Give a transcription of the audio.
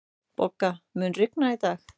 Bogga, mun rigna í dag?